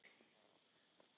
Hellið yfir hafrana og berin.